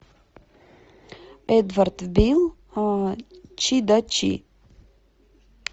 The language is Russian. эдвард бил чи да чи